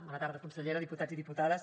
bona tarda consellera diputats i diputades